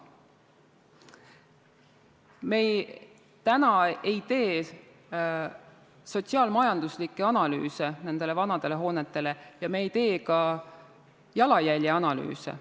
Me ei tee täna sotsiaal-majanduslikke analüüse nendele vanadele hoonetele ja me ei tee ka jalajälje analüüse.